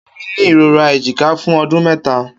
Kemi ni irora ejika fun ọdun mẹta.